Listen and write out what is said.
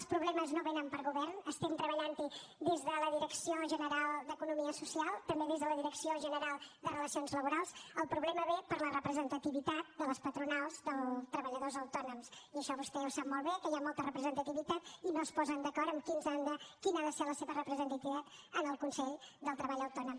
els problemes no vénen per govern estem treballant hi des de la direcció general d’economia social també des de la direcció general de relacions laborals el problema ve per la representativitat de les patronals dels treballadors autònoms i això vostè ho sap molt bé que hi ha molta representativitat i no es posen d’acord en quina ha de ser la seva representativitat en el consell del treball autònom